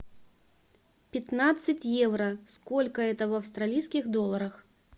пятнадцать евро сколько это в австралийских долларах